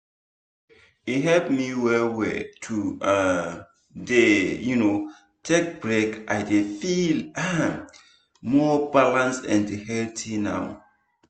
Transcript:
e help me well well to um dey um take break i dey feel um more balanced and healthy now.